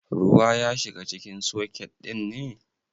Ruwa ya shiga cikin soket ɗin ne?